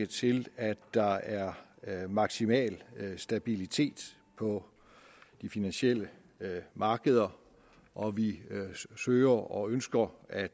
til at der er er maksimal stabilitet på de finansielle markeder og vi søger og ønsker at